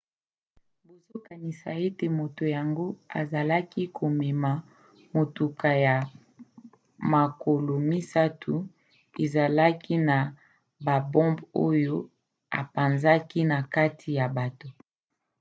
bazokanisa ete moto yango azalaki komema motuka ya makolo misato ezalaki na babombe oyo apanzaki na kati ya bato